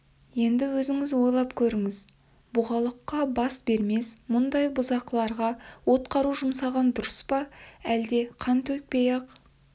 енді өзіңіз ойлап көріңіз бұғалыққа бас бермес мұндай бұзақыларға от қару жұмсаған дұрыс па жоқ әлде қан төкпей-ақ